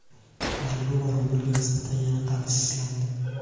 yevro va rublga nisbatan yana qadrsizlandi.